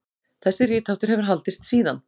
Þessi ritháttur hefur haldist síðan.